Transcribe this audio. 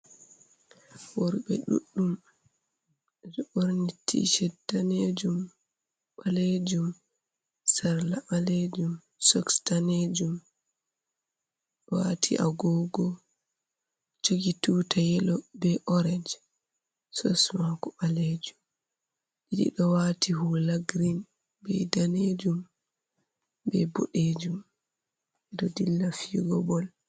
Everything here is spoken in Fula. Worɓe ɗuɗɗum ɗo ɓorni tishet ɗanejum ɓalejum sarla ɓalejum socks ɗanejum, ɗo wati agogo jogi tuta yelo ɓe orange socks mako ɓalejum, ɗiɗi ɗo wati hula girin ɓe ɗanejum ɓe ɓoɗejum ɓe ɗo dilla fiwugo ɓol.